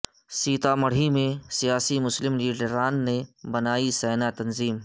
سیتامڑھی میں سیاسی مسلم لیڈران نے بنائی سینا تنظیم